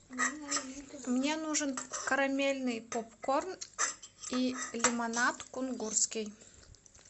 мне нужен карамельный попкорн и лимонад кунгурский